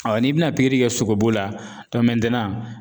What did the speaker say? n'i bɛna pikiri kɛ sogobu la